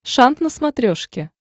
шант на смотрешке